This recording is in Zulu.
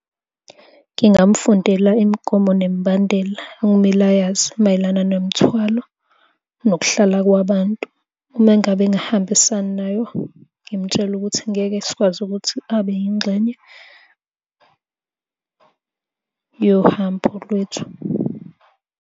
Ngingamfundela imigomo nemibandela okumele ayazi mayelana nemithwalo nokuhlala kwabantu. Uma ngabe engahambisani nayo ngimtshele ukuthi ngeke sikwazi ukuthi abe yingxenye yohambo lwethu.